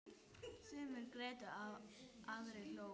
Sumir grétu, aðrir hlógu.